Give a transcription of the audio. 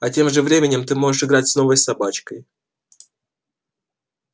а тем временем ты можешь играть с новой собачкой